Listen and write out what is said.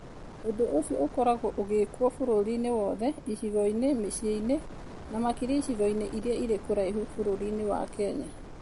Ũndũ ũcio ũkoragwo ũgekwo bũrũri-inĩ wothe, icigo-inĩ, mĩciĩ-inĩ, na makĩria icigo-inĩ iria irĩ kũraihu bũrũri-inĩ wa Kenya.